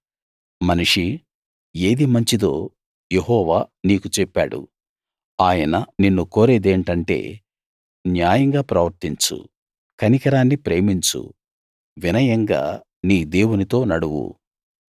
మనిషీ ఏది మంచిదో యెహోవా నీకు చెప్పాడు ఆయన నిన్ను కోరేదేంటంటే న్యాయంగా ప్రవర్తించు కనికరాన్ని ప్రేమించు వినయంగా నీ దేవునితో నడువు